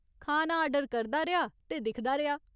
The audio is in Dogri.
खाना आर्डर करदा रेहा ते दिखदा रेहा।